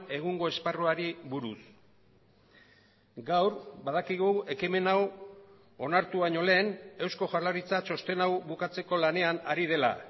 egungo esparruari buruz gaur badakigu ekimen hau onartu baino lehen eusko jaurlaritza txosten hau bukatzeko lanean ari dela